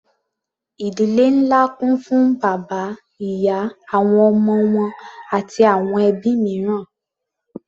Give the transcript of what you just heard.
Ìdílé ńlá kún fún bàbá, ìyá, àwọn ọmọ wọn àti àwọn ẹbí mìíràn.